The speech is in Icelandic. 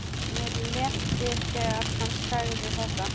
Mér létti þegar hann sagði þetta.